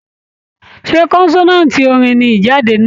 Ṣé kọ́nsàtii orin ní Ijade náà?